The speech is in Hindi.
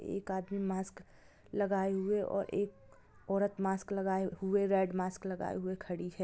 एक आदमी मास्क लगाए हुए और एक औरत मास्क लगाए हुए रेड मास्क लगाए हुए खड़ी है।